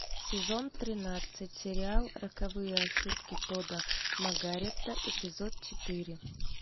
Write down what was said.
сезон тринадцать сериал роковые ошибки тодда маргарета эпизод четыре